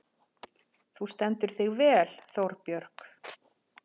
Þú stendur þig vel, Þórbjörg!